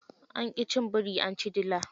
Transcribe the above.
Anki cin biri anci dila.